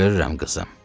Görürəm, qızım.